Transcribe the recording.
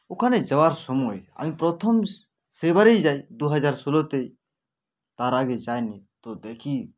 ওখানে যাওয়ার সময় আমি প্রথম সে সেবারই যাই দুহাজার ষোলোতেই তর আগে যাইনি তো দেখি